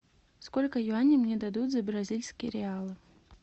сколько юаней мне дадут за бразильские реалы